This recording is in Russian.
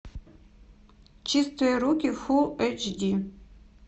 чистые руки фулл эйч ди